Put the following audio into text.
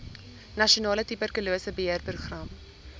nasionale tuberkulose beheerprogram